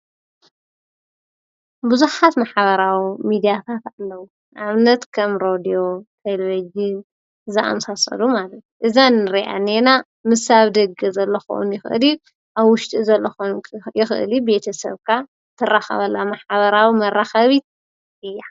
ብዙኃት መሓበራዊ ሚድያታት ኣለዉ ኣምነት ከም ሮድዮ ተልበጅን ዘኣምሳሰዱ ማለል እዛንርያ ነና ምሳብ ደገ ዘለኾዉን ይኽእሪብ ኣ ውሽጢ ዘለኾን ይኽእሊብ ቤተ ሰብካ ተራኸበላ መሓበራዊ መራኸቢት እያ።